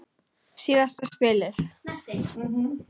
Síðasta spilið.